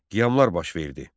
Qiyamlar baş verdi.